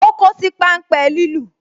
O kosi pan ń pe lilu